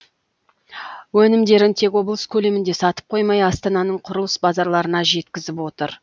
өнімдерін тек облыс көлемінде сатып қоймай астананың құрылыс базарларына жеткізіп отыр